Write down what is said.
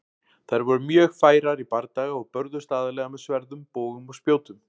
Þær voru mjög færar í bardaga og börðust aðallega með sverðum, bogum og spjótum.